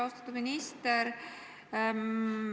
Austatud minister!